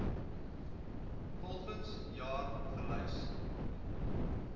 volgens jaar gelys